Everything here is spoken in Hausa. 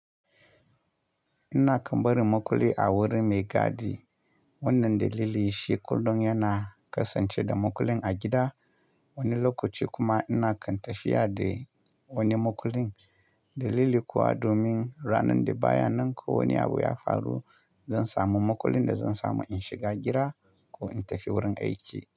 Ina kammbarin makulli a wuri mai gadi, wannan dalili shi kullum yana kasance da makullin a gida. Wani lokaci kuma ina kan tafiya da wani makullin dalili kuwa domin ranan da baya nan ko wani abu ya faru, zan samu makullin da zan samu in shiga gida ko in tafi wurin aiki.